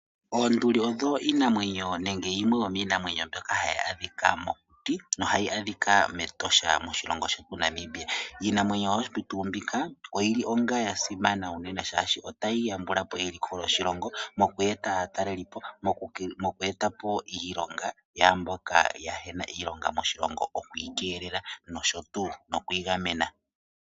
oonduli odho iinamwenyo nenge yimwe yomiinamwenyo mbyoka hayi adhika mokuti na ohayi adhika mEtosha lya Namibia. Iinamwenyo oyo tuu mbika oyili onge ya simana uunene, shashi otayi yambulapo eliko lyoshilongo, moku eta aatalelipo, moku etapo iilongo ya mboka kaa yena iilonga moshilongo, mokuyi keelela nokuyi gamena.